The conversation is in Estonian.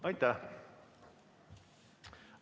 Aitäh!